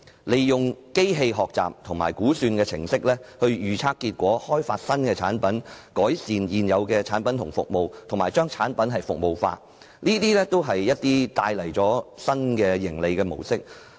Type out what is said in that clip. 利用機器學習和估算程式預測結果、開發新產品、改善現有產品和服務，以及把產品服務化，均可帶來新的盈利模式。